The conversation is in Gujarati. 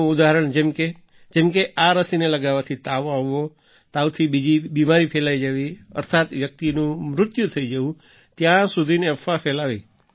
તેનું ઉદાહરણ જેમ જેમ કે આ રસીને લગાવવાથી તાવ આવવો તાવથી બીજી બીમારી ફેલાઈ જવી અર્થાત્ વ્યક્તિનું મૃત્યુ થઈ જવું ત્યાં સુધીની અફવા ફેલાવી